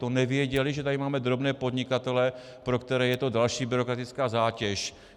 To nevěděli, že tady máme drobné podnikatele, pro které je to další byrokratická zátěž?